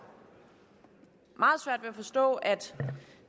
meget svært ved at forstå at